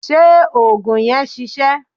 Ṣé òògùn yẹn ṣiṣẹ́?